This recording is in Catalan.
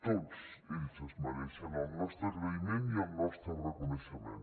tots ells es mereixen el nostre agraïment i el nostre reconeixement